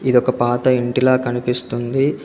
ఇది ఒక పాత ఇంటిలా కనిపిస్తుంది.